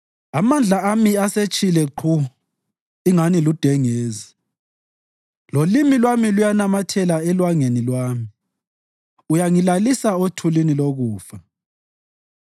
Amandla ami asetshile qhu ingathi ludengezi, lolimi lwami luyanamathela elwangeni lwami; uyangilalisa othulini lokufa.